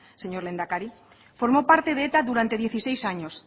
señor lehendakari formó parte de eta durante dieciséis años